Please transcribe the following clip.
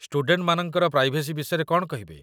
ଷ୍ଟୁଡେଣ୍ଟମାନଙ୍କର privacy ବିଷୟରେ କ'ଣ କହିବେ?